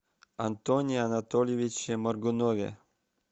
антоне анатольевиче моргунове